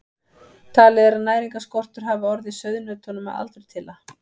Talið er að næringarskortur hafi orðið sauðnautunum að aldurtila.